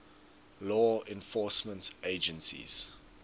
law enforcement agencies